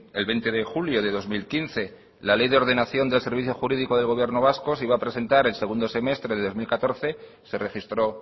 el veinte de julio de dos mil quince la ley de ordenación del servicio jurídico del gobierno vasco se iba a presentar el segundo semestre de dos mil catorce se registró